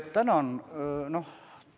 Tänan!